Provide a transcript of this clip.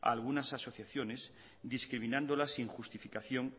a algunas asociaciones discriminándolas sin justificación